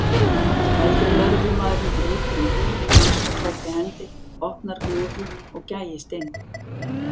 Eldri lögreglumaðurinn grípur um húninn hanskaklæddri hendi, opnar glufu og gægist inn.